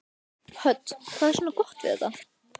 Hödd: Hvað er svona gott við þetta?